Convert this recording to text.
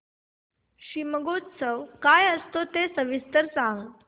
शिमगोत्सव काय असतो ते सविस्तर सांग